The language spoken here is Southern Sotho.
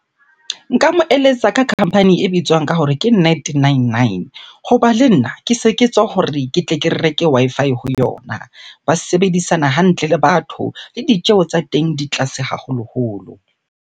Nka mo eletsa ka company e bitswang ka hore ke net nine nine. Hoba le nna ke se ke tswa hore ke tle ke reke Wi-Fi ho yona. Ba sebedisana hantle le batho, le ditjeho tsa teng di tlase haholoholo